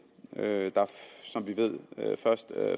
der er som vi ved først